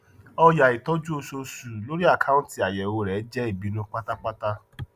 ọyà ìtọju oṣooṣu lórí akounti àyẹwò rẹ jẹ ìbìnú pátápátá